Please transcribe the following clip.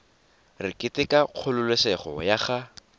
re keteka kgololesego ya ga